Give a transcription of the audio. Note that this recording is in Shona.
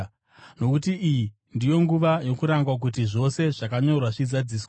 Nokuti iyi ndiyo nguva yokurangwa kuti zvose zvakanyorwa zvizadziswe.